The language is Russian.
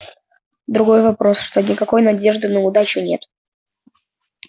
другой вопрос что никакой надежды на удачу нет